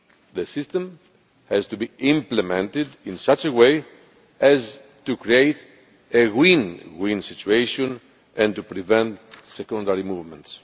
The system has to be implemented in such a way as to create a win win situation and to prevent secondary movements.